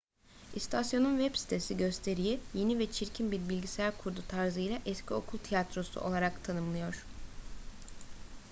i̇stasyonun web sitesi gösteriyi yeni ve çirkin bir bilgisayar kurdu tarzıyla eski okul radyo tiyatrosu! olarak tanımlıyor